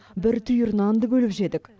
бір түйір нанды бөліп жедік